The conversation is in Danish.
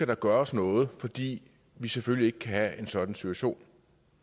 der gøres noget fordi vi selvfølgelig ikke kan have en sådan situation